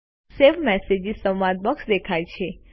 save message સંવાદ box દેખાય છે